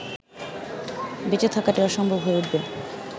বেঁচে থাকাটাই অসম্ভব হয়ে উঠবে